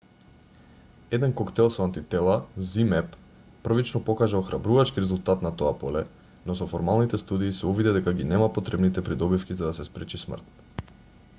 еден коктел со антитела zmapp првично покажа охрабрувачки резултат на тоа поле но со формалните студии се увиде дека ги нема потребните придобивки за да се спречи смрт